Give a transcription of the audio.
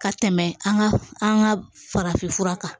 Ka tɛmɛ an ka an ka farafin fura kan